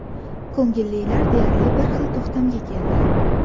Ko‘ngillilar deyarli bir xil to‘xtamga keldi.